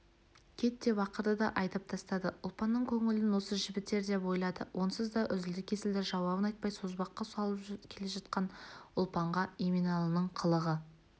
кет деп ақырды да айдап тастады ұлпанның көңілін осы жібітер деп ойлады онсыз да үзілді-кесілді жауабын айтпай созбаққа салып келе жатқан ұлпанға еменалының қылығы